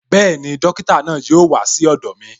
Bẹẹni, dókítà náà yóò wá sí ọ̀dọ̀ mi